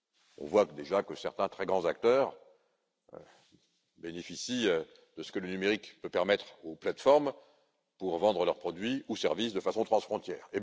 On voit déjà que certains très grands acteurs bénéficient de ce que le numérique peut apporter aux plateformes pour la vente de leurs produits ou services de façon transfrontière.